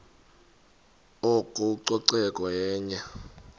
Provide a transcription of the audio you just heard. oko ucoceko yenye